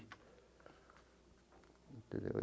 Entendeu?